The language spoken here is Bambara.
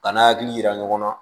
Ka n'a hakili yira ɲɔgɔn na